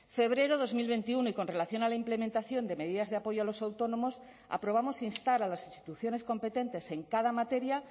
febrero dos mil veintiuno y con relación a la implementación de medidas de apoyo a los autónomos aprobamos instar a las instituciones competentes en cada materia